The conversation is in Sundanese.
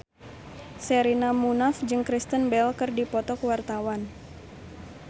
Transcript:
Sherina Munaf jeung Kristen Bell keur dipoto ku wartawan